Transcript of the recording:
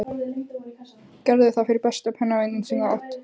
Gerðu það fyrir besta pennavininn sem þú átt.